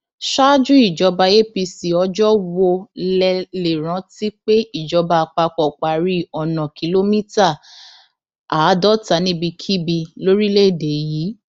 ṣáájú ìjọba apc ọjọ wo lẹ lè rántí pé ìjọba àpapọ parí ọnà kìlómítà àádọta níbikíbi lórílẹèdè yìí